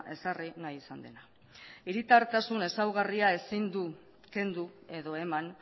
ezarri nahi izan dena hiritartasun ezaugarria ezin du kendu edo eman